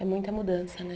É muita mudança, né?